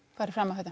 farið fram á þetta